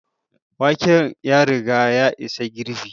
Waken ya riga ya isa girɓi